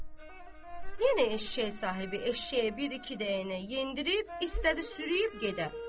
Yenə eşşək sahibi eşşəyi bir-iki dəyənəyə yendirib istədi sürüyyüb gedə.